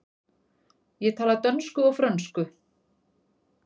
Ég tala dönsku og frönsku.